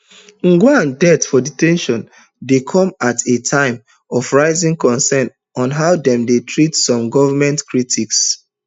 ojwang death for de ten tion dey come at a time of rising concern on top how dem dey treat some goment critics